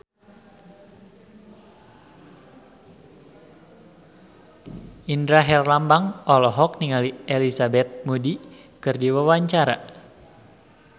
Indra Herlambang olohok ningali Elizabeth Moody keur diwawancara